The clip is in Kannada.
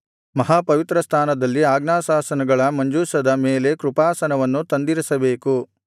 ಮಹಾಪವಿತ್ರಸ್ಥಾನದಲ್ಲಿ ಆಜ್ಞಾಶಾಸನಗಳ ಮಂಜೂಷದ ಮೇಲೆ ಕೃಪಾಸನವನ್ನು ತಂದಿರಿಸಬೇಕು